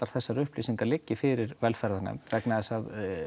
þessar upplýsingar liggi fyrir velferðarnefnd vegna þess að